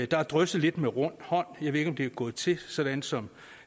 der er drysset lidt med rund hånd jeg ved ikke om det er gået til sådan som